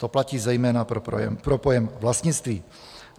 To platí zejména pro pojem "vlastnictví".